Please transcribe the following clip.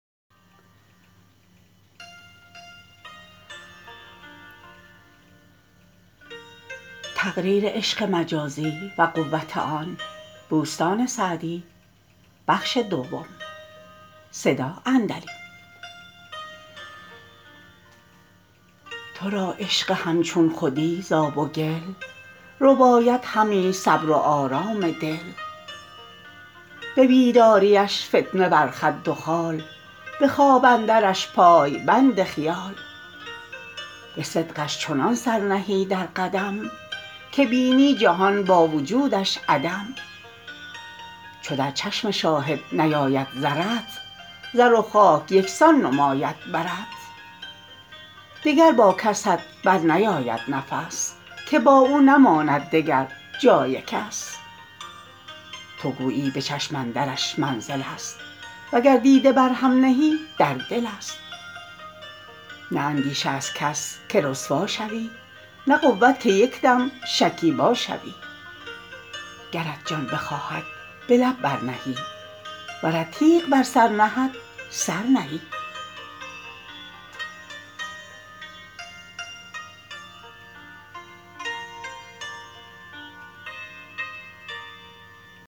تو را عشق همچون خودی ز آب و گل رباید همی صبر و آرام دل به بیداریش فتنه بر خد و خال به خواب اندرش پای بند خیال به صدقش چنان سر نهی در قدم که بینی جهان با وجودش عدم چو در چشم شاهد نیاید زرت زر و خاک یکسان نماید برت دگر با کست بر نیاید نفس که با او نماند دگر جای کس تو گویی به چشم اندرش منزل است وگر دیده بر هم نهی در دل است نه اندیشه از کس که رسوا شوی نه قوت که یک دم شکیبا شوی گرت جان بخواهد به لب بر نهی ورت تیغ بر سر نهد سر نهی